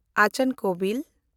ᱟᱪᱟᱱ ᱠᱳᱵᱷᱤᱞ